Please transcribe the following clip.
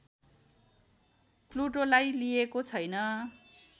प्लुटोलाई लिइएको छैन